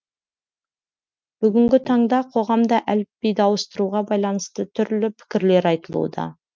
бүгінгі таңда қоғамда әліпбиді ауыстыруға байланысты түрлі пікірлер айтылуда